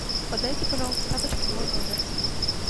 подайте пожалуйста тапочки в мой номер